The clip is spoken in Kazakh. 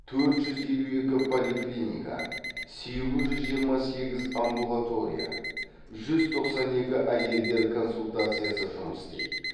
төрт жүз елу екі поликлиника сегіз жүз жиырма сегіз амбулатория жүз тоқсан екі әйелдер консультациясы жұмыс істейді